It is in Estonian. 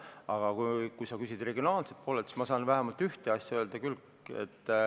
Aga kui sa küsid regionaalse poole kohta, siis ma saan vähemalt ühte asja öelda küll.